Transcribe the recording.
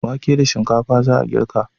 Wake da shinkfa za a girka.